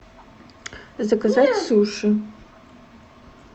заказать суши